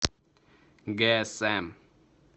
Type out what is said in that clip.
гээсэм